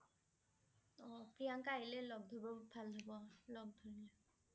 অ' প্ৰিয়ংকা আহিলে লগ ধৰিব ভাল হব। লগ ধৰি।